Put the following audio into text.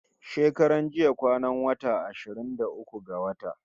Shekaran jiya kwanan wata ashirin da uku ga wata